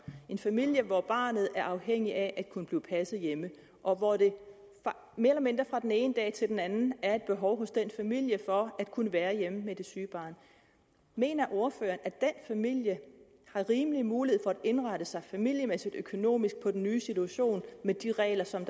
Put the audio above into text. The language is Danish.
en familie hvor barnet er afhængigt af at kunne blive passet hjemme og hvor der mere eller mindre fra den ene dag til den anden er et behov hos den familie for at kunne være hjemme med det syge barn mener ordføreren at den familie har rimelig mulighed for at indrette sig familiemæssigt og økonomisk på den nye situation med de regler som